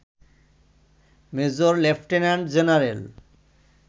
major lieutenant general